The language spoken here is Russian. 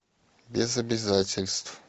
без обязательств